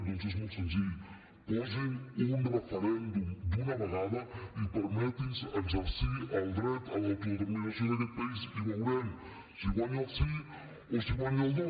doncs és molt senzill posin un referèndum d’una vegada i permetin nos exercir el dret a l’autodeterminació d’aquest país i veurem si guanya el sí o si guanya el no